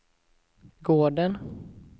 gården